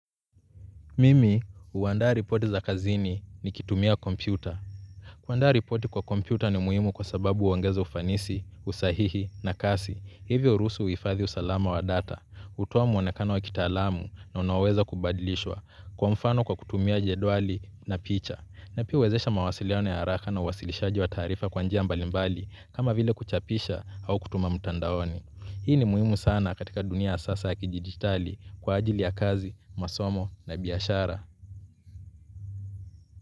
Mimi, huandaa ripoti za kazini nikitumia kompyuta. Kuandaa ripoti kwa kompyuta ni muhimu kwa sababu huongeza ufanisi, usahihi na kasi. Hivyo hurusu uhifadhi usalama wa data, hutoa muonekana wa kitaalamu na unaweza kubadilishwa, kwa mfano kwa kutumia jedwali na picha. Na pia huwezesha mawasilione ya haraka na uwasilishaji wa taarifa kwa njia mbalimbali, kama vile kuchapisha au kutuma mtandaoni. Hii ni muhimu sana katika dunia ya sasa ya kidijitali kwa ajili ya kazi, masomo na biashara.